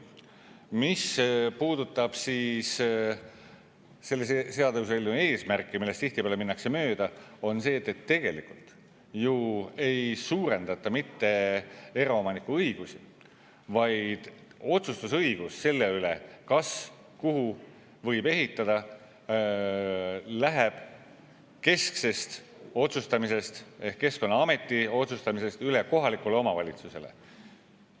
Mis puudutab selle seaduseelnõu eesmärki, millest tihtipeale minnakse mööda, on see, et tegelikult ju ei suurendata mitte eraomaniku õigusi, vaid õigus otsustada selle üle, kuhu ja kas võib ehitada, läheb ehk Keskkonnaametilt üle kohalikule omavalitsusele.